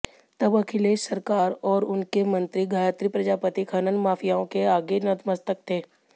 तब अखिलेश सरकार और उसके मंत्री गायत्री प्रजापति खनन माफियाओं के आगे नतमस्तक थे